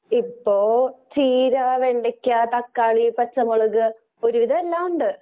ഇപ്പോ ചീര, വെള്ളരി, വെണ്ടയ്ക്ക, തക്കാളി, പച്ചമുളക് ഒരുവിധ എല്ലാ ഉണ്ട്.